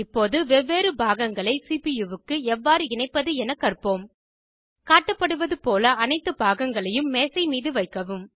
இப்போது வெவ்வேறு பாகங்களை சிபியூவுக்கு எவ்வாறு இணைப்பது என கற்போம் காட்டப்படுவது போல அனைத்து பாகங்களையும் மேசை மீது வைக்கவும்